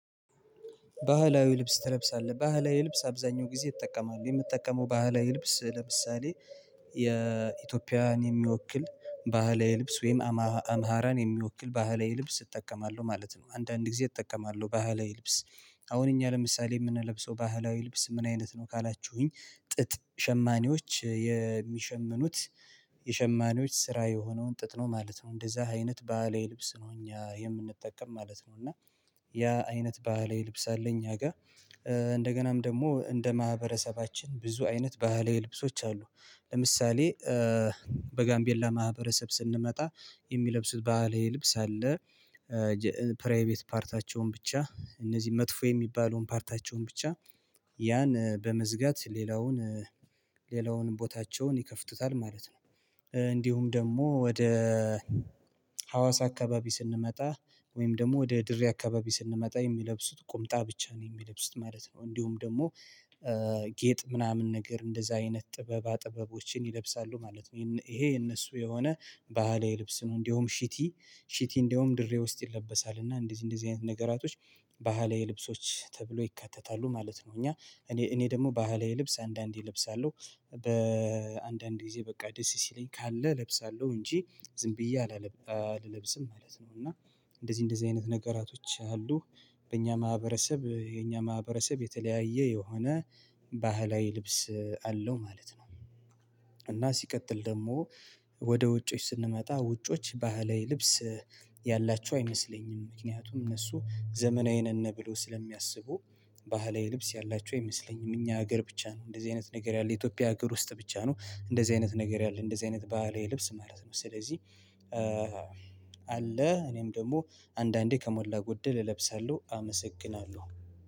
ባህላዊ ልብስ ትለብሳለህ? ባህላዊ ልብስ አብዛኛውን ጊዜ እጠቀማለሁ የምጠቀመው ባህላዊ ልብስ ለምሳሌ የኢትዮጵያን የሚወክል ባህላዊ ልብስ ወይም አማራን የሚወክል ባህላዊ ልብስ እጠቀማለሁ ማለት ነው አንዳንድ ጊዜ እጠቀማለሁ ባህላዊ ልብስ አሁን እኛ ለምሳሌ የምንለብሰው ባህላዊ ልብስ ምን አይነት ነው ካላችሁኝ ጥጥ ሸማኔዎች የሚሸምኑት የሸማኔዎች ስራ የሆነውን ጥጥ ነው ማለት ነው እንደዛ አይነት ባህላዊ ልብስ ነው እኛ የምንጠቀም ማለት ነው እና ያ አይነት ባህላዊ ልብስ አለ ከኛጋ እንደገናም ደግሞ እንደማህበረሰባችን ብዙ አይነት ባህላዊ ልብሶች አሉ ለምሳሌ በጋምቤላ ማህበረሰብ ስንመጣ የሚለብሱት ባህላዊ ልብስ አለ ፕራይቤት ፓርታቸውን ብቻ እንደዚ መጥፎ የሚባለውን ፓርታቸውን ብቻ ያን በመዝጋት ሌላውን ሌላውን ቦታቸውን ይከፍቱታል ማለት ነው እንዲሁም ደግሞ ወደ ሀዋሳ አካባቢ ስንመጣ ወይም ደግሞ ወደ ድሬ አካባቢ ስንመጣ የሚለብሱት ቁምጣ ብቻ ነው ይሚለብሱት ማለት ነው እንዲሁም ደግሞ ጌጥ ምናምነ ነገር እንደዛ አይነት ጥበባ ጥበቦች ይለብሳሉ ማለት ነው ይኸ የነሱ የሆነ ባህላዊ ልብስ ነው እንዲሁም ሽቲ ሽቲ እንደውም ድሬ ውስጥ ይለበሳል እና እበደዚህ እንደዚህ አይነት ነገራቶች ባህላዊ ልብሶች ተብሎ ይካተታሉ ማለት ነው እኛ እኔ እኔ ደግሞ ባህላዊ ልብስ አንዳንድ ልብስ እለበሳለው ጊዜ በቃ ደስ ሲለኝ ካለ እለብሳለሁ እንጂ ዝም ብየ አላለብ አለብስም ማለት ነው እና እንደዚህ እንደዚህ አይነት ነገራቶች አሉ በኛ ማህበረሰብ የኛ ማህበረሰብ የተለያየ የሆነ ባህላዊ ልብስ አለው ማለት ነው እና ሲቀጥል ደግሞ ወደ ውጮች ስንመጣ ውጮች ባህላዊ ልብስ ያላቸው አይመስለኝም ምክንያቱም እነሱ ዘመናዊ ነነ ብለው ስለሚያስቡ ባህላዊ ልብስ ያለቸው አይመስለኝም እኛ ሀገር ብቻ ነው እንደዚህ አይነት ነገር ያለ ኢትዮጵያ ሀገር ውስጥ ብቻ ነው እንደዚህ አይነት ነገር ያለ እንደዚህ አይነት ባህላዊ ልብስ ማለት ነው ስለዚህ አለ እነም ደግሞ አንዳዴ ከሞላ ጎደል እለብሳለሁ አመሰግናለሁ